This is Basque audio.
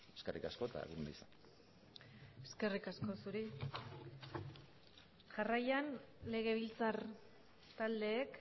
eskerrik asko eta egun ona izan eskerrik asko zuri jarraian legebiltzar taldeek